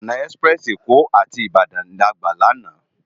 Òná èsipirèsi Ékó áti Ibadan lágbá làná